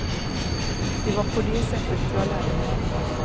Det var på det sättet jag lärde mig.